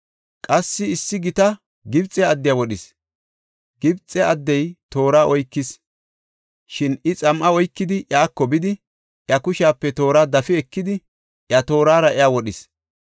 Qassi issi gita Gibxe addiya wodhis; Gibxe addey toora oykis; shin I xam7a oykidi iyako bidi, iya kushepe toora dafi ekidi, iya toorara iya wodhis.